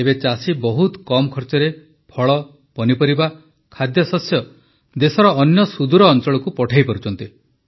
ଏବେ ଚାଷୀ ବହୁତ କମ୍ ଖର୍ଚ୍ଚରେ ଫଳ ପନିପରିବା ଖାଦ୍ୟଶସ୍ୟ ଦେଶର ଅନ୍ୟ ସୁଦୂର ଅଞ୍ଚଳକୁ ପଠାଇପାରୁଛନ୍ତି